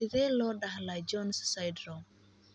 Sidee loo dhaxlaa Jones syndrome?